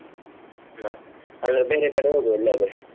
ಮತ್ತೆ ಅಲ್ಲೇ ಬೇರೆ ಕಡೆ ಹೋಗುವ ಎಲ್ಲಿಯಾದ್ರೂ.